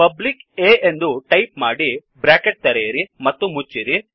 public A ಎಂದು type ಮಾಡಿಬ್ರ್ಯಾಕೆಟ್ ತೆರೆಯಿರಿ ಮತ್ತು ಮುಚ್ಚಿರಿ